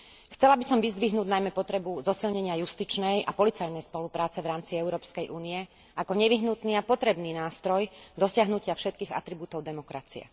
Chcela by som vyzdvihnúť najmä potrebu zosilnenia justičnej a policajnej spolupráce v rámci Európskej únie ako nevyhnutný a potrebný nástroj dosiahnutia všetkých atribútov demokracie.